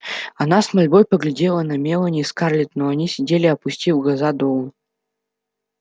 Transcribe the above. она с мольбой поглядела на мелани и скарлетт но они сидели опустив глаза долу